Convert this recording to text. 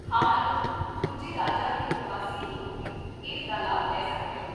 ਹਾਂ ਮੈਡਮ, ਦੂਜੇ ਰਾਜਾਂ ਦੇ ਪ੍ਰਵਾਸੀ ਲੋਕ ਵੀ ਇਸ ਦਾ ਲਾਭ ਲੈ ਸਕਦੇ ਹਨ